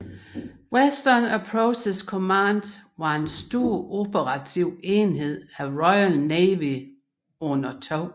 Western Approaches Command var en stor operativ enhed af Royal Navy under 2